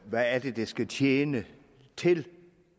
hvad de skal tjene til